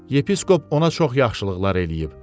Yepiskop ona çox yaxşılıqlar eləyib.